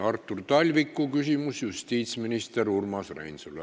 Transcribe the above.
Artur Talviku küsimus justiitsminister Urmas Reinsalule.